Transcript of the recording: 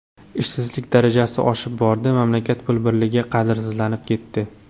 Ishsizlik darajasi oshib bordi, mamlakat pul birligi qadrsizlanib ketdi.